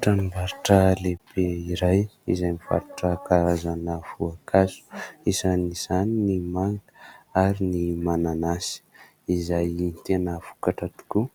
tranombarotra lehibe iray izay faritra karazana voankazo izany ny manga ary ny mananasy izay tena vokatra tokoa